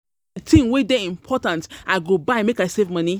tin wey dey important I go buy make I save moni.